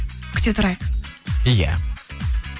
күте тұрайық иә